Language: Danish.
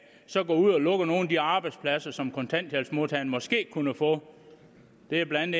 går ud og lukker nogle af de arbejdspladser som kontanthjælpsmodtageren måske kunne få det er blandt